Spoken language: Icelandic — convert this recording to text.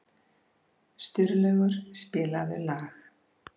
Sturlaugur, spilaðu lag.